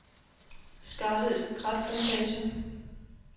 Skarrild Kratplantage